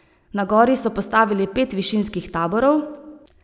Na gori so postavili pet višinskih taborov.